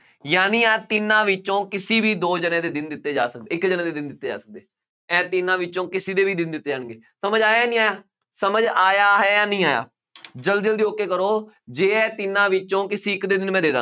ਯਾਨੀ ਆਹ ਤਿੰਨਾਂ ਵਿੱਚੋਂ ਕਿਸੇ ਵੀ ਦੋ ਜਣਿਆਂ ਦੇ ਦਿਨ ਦਿੱਤੇ ਜਾ ਸਕਦੇ ਹੈ, ਇੱਕ ਜਣੇ ਦੇ ਦਿਨ ਦਿੱਤੇ ਜਾ ਸਕਦੇ, ਇਹ ਤਿੰਨਾ ਵਿੱਚੋਂ ਕਿਸੇ ਦੇ ਵੀ ਦਿਨ ਦਿੱਤੇ ਜਾਣਗੇ, ਸਮਝ ਆਇਆ ਨਹੀਂ ਆਇਆ, ਸਮਝ ਆਇਆ ਹੈ ਜਾਂ ਨਹੀਂ ਆਇਆ, ਜਲਦੀ, ਜਲਦੀ, okay ਕਰੋ, ਜੇ ਇਹ ਤਿੰਨਾਂ ਵਿੱਚੋਂ ਕਿਸੇ ਇੱਕ ਦੇ ਦਿਨ ਮੈਂ ਦੇ ਦਿਆਂ।